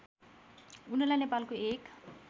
उनलाई नेपालको एक